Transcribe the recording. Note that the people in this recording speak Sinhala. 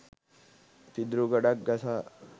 පිදුරු ගොඩක් ගසා